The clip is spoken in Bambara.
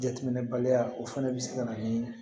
Jateminɛ baliya o fana bɛ se ka na ni